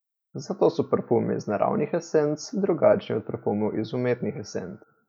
Zato so parfumi iz naravnih esenc drugačni od parfumov iz umetnih esenc.